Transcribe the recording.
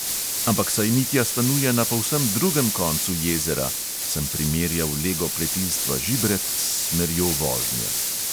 "Ampak saj mitja stanuje na povsem drugem koncu jezera," sem primerjal lego pletilstva žibret s smerjo vožnje.